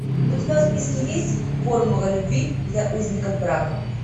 у тебя в списке есть формула любви для узников брака